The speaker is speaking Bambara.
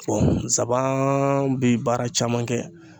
zaban bɛ baara caman kɛ.